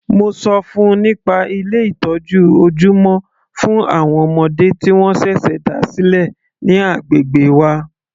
Mo ṣọ fún -un nípa Ilé ìtọ́jú ojúmọ́ fún àwọn ọmọdé tí wọ́n ṣẹ̀ṣẹ̀ dá sílẹ̀ ní agbègbè wa.